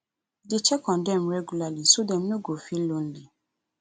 dey check on dem regularly so dem no go feel lonely